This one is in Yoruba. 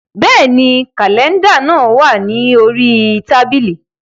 Bẹ́ẹ̀ni, kàlẹ́ndà náà wà ní orí tábìlì